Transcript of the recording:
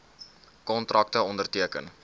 kontrakte onderteken